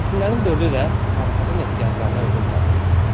Fəsillərin dördü də təsərrüfatın ehtiyaclarına uyğun gəlir.